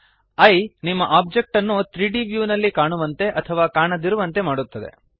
ಈಯೆ ನಿಮ್ಮ ಆಬ್ಜೆಕ್ಟ್ ಅನ್ನು 3ದ್ ವ್ಯೂ ನಲ್ಲಿ ಕಾಣುವಂತೆ ಅಥವಾ ಕಾಣದಿರುವಂತೆ ಮಾಡುತ್ತದೆ